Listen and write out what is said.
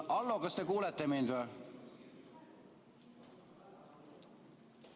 Hallo, kas te kuulete mind või?